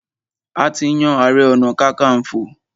A ti yan ààrẹ-ọ̀nà-kakanfò.